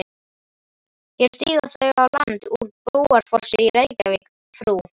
Hér stíga þau á land úr Brúarfossi í Reykjavík frú